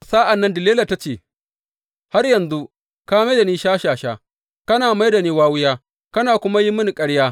Sa’an nan Delila ta ce, Har yanzu, ka mai da shashasha, kana mai da ni wawiya kana kuma yin mini ƙarya.